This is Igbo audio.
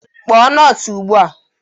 Kpọọ nọọsụ ugbu a